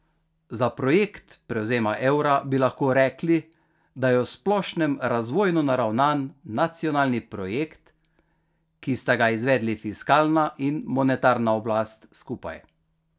Za projekt prevzema evra bi lahko rekli, da je v splošnem razvojno naravnan nacionalni projekt, ki sta ga izvedli fiskalna in monetarna oblast skupaj.